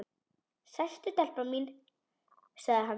Sestu telpa mín, sagði hann.